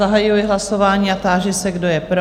Zahajuji hlasování a táži se, kdo je pro?